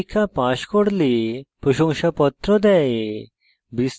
online পরীক্ষা pass করলে প্রশংসাপত্র দেয়